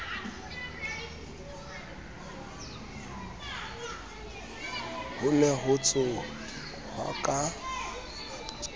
ho ne ho tsohwa ka